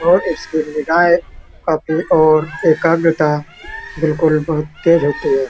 और इसकी निगाहें अपनी ओर एकाग्रता बिल्कुल बहोत तेज़ होती है।